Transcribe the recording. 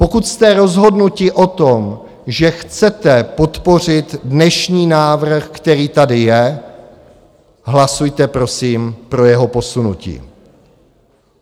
Pokud jste rozhodnuti o tom, že chcete podpořit dnešní návrh, který tady je, hlasujte prosím pro jeho posunutí.